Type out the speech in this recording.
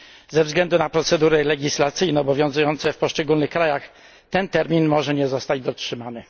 Ze względu na procedury legislacyjne obowiązujące w poszczególnych krajach, ten termin może nie zostać dotrzymany.